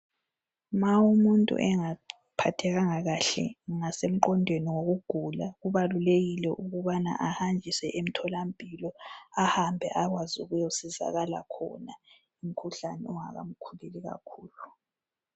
Ma umuntu engaphathekanga kahle ngasemqondweni wokugula kubalulekile ukubana ahanjiswe emtholampilo ahambe akwazi ukuyosizakala khona umkhuhlane ungaka mkhuleli kakhululu